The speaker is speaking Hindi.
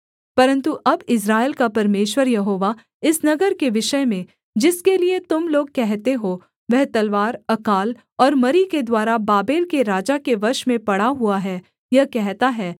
परन्तु अब इस्राएल का परमेश्वर यहोवा इस नगर के विषय में जिसके लिये तुम लोग कहते हो वह तलवार अकाल और मरी के द्वारा बाबेल के राजा के वश में पड़ा हुआ है यह कहता है